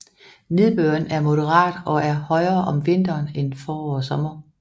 Nedbøren er moderat og er højere om vinteren end forår og sommer